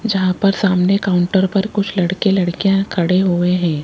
जहां पर सामने काउंटर पर कुछ लड़के लड़कियां खड़े हुए है।